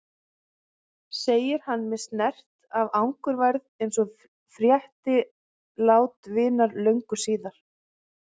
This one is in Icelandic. segir hann með snert af angurværð eins og frétti lát vinar löngu síðar.